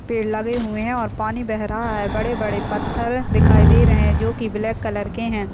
पेड़ लगे हुए हैं और पानी बह रहा है बड़े-बड़े पत्थर दिखाई दे रहे हैं जो की ब्लाक कलर के हैं।